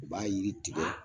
U b'a yiri tigɛ